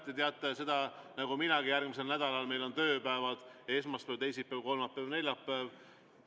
Te teate seda nagu minagi, et järgmisel nädalal on meil tööpäevad esmaspäev, teisipäev, kolmapäev, neljapäev.